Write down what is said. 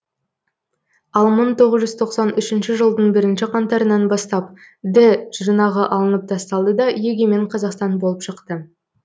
ал мың тоғыз жүз тоқсан үшінші жылдың бірінші қаңтарынан бастап ді жұрнағы алынып тасталды да егемен қазақстан болып шықты